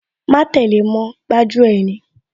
Má tẹ́le mọ́, gbájú ẹ̀ ni